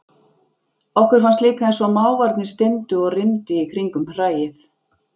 Okkur fannst líka einsog mávarnir styndu og rymdu í kringum hræið.